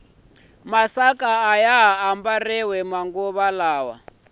masaka ayaha ambariwa manguva lawa